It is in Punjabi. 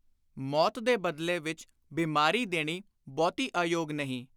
ਮੌਤ ਦੇ ਬਦਲੇ ਵਿਚ ਬੀਮਾਰੀ ਦੇਣੀ ਬਹੁਤੀ ਅਯੋਗ ਨਹੀਂ।